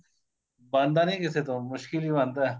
ਬਣਦਾ ਨੀਂ ਕਿਸੇ ਤੋਂ ਮੁਸਕਿਲ ਈ ਬਣਦਾ